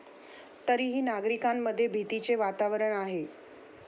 तरीही नागरिकांमध्ये भीतीचे वातावरण आहे.